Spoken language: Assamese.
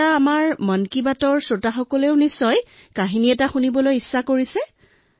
এতিয়া আমাৰ মন কী বাতৰ শ্ৰোতাসকলেও কাহিনী শুনিবলৈ মন কৰিছে